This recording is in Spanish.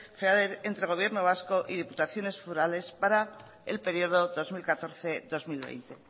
entre gobierno vasco y diputaciones forales para el periodo dos mil catorce dos mil veinte